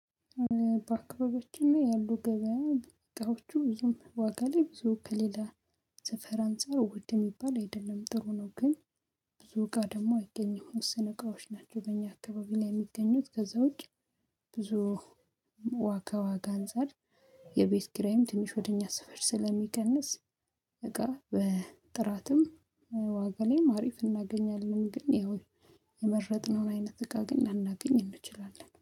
በአካባቢያችን ላይ ያሉ ገበያ እቃዎቹ ብዙም ዋጋ ላይ ብዙ ከሌላ ሰፈር አንፃር ውድ የሚባል አይደለም ጥሩ ነው ግን ብዙ እቃ ደግሞ አይገኘውም ውስን እቃዎች ናቸው። በእኛ አካባቢ ላይ የሚገኙት ከዛ ውጪ። ብዙ ዋካ ዋጋ አንፃር የቤት ኪራይም ትንሽ ወደ እኛ ስፈር ስለሚቀንስ እቃ በጥራትም ዋጋ ላይም አሪፍ እናገኛለን። ግን ያው የመረጥነውን አይነት እቃ ግን ላናገኝ እንችላለን